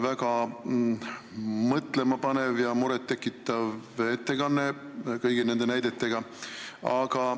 Väga mõtlema panev ja muret tekitav ettekanne kõigi nende näidetega.